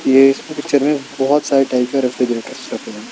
ये इस पिक्चर में बहुत सारे टाइप के रेफ्रिजरेटर रखे गये हैं।